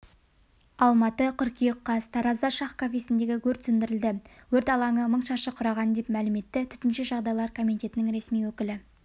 алматы қыркүйек қаз таразда шах кафесіндегі өрт сөндірілді өрт алаңы мың шаршы құраған деп мәлім етті төтенше жағдайлар комитетінің ресми өкілі